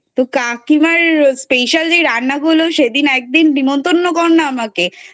তো কাকিমার special যে রান্না গুলো সেদিন একদিন নিমন্তন্ন কর না আমাকে।